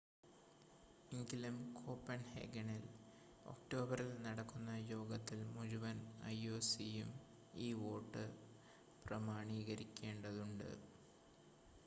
എങ്കിലും കോപ്പൺഹേഗനിൽ ഒക്ടോബറിൽ നടക്കുന്ന യോഗത്തിൽ മുഴുവൻ ioc യും ഈ വോട്ട് പ്രമാണീകരിക്കേണ്ടതുണ്ട്